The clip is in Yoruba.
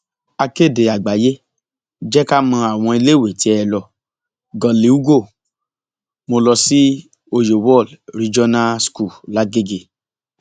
akéde àgbáyéé jẹ ká mọ àwọn iléèwé tẹ é lọ goliugo mo lọ sí oyewol regional school làgẹgẹ